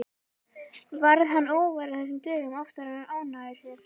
Varð hann óvær af þessu dögum oftar og ónógur sér.